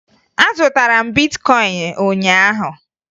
Azụtara m bitkọyịn ụnyaahụ